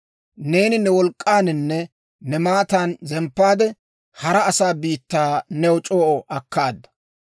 Neeni ne wolk'k'aaninne ne maatan zemppaade, hara asaa biittaa new c'oo akkaada.